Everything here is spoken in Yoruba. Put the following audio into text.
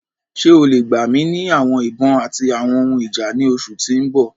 Ṣe o le gba mi ni awọn ibon ati awọn ohun ija ni oṣu ti n bọ?